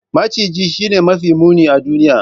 Maciji Shine mafi muni a duniya.